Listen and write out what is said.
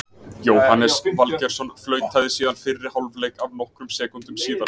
Jóhannes Valgeirsson flautaði síðan fyrri hálfleik af nokkrum sekúndum síðar.